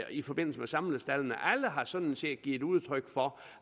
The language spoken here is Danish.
i forbindelse med samlestaldene alle har sådan set givet udtryk for